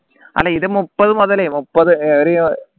അല്ല ഇത് മുപ്പത് മുതൽ മുപ്പത് ഒരു